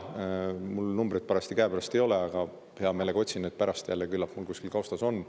Mul numbreid käepärast ei ole, aga ma hea meelega otsin nad pärast üles, küllap nad kusagil kaustas on.